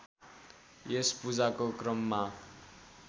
यस पूजाको क्रममा